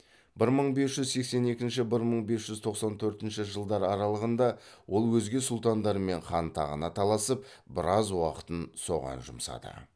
бір мың бес жүз сексен екінші бір мың бес жүз тоқсан төртінші жылдар аралығында ол өзге сұлтандармен хан тағына таласып біраз уақытын соған жұмсады